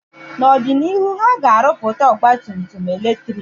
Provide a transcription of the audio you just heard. N'ọdịnihu, ha ga-arụpụta ọgba tum tum eletrik